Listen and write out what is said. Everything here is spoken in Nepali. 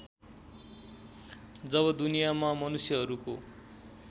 जब दुनियाँमा मनुष्यहरूको